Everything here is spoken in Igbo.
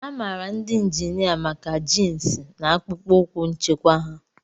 A maara ndị injinia maka jins na akpụkpọ ụkwụ nchekwa ha.